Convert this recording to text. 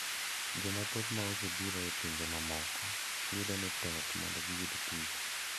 Jomathoth ma osebiro e pinje mamoko yudo ni tek mondo giyud tich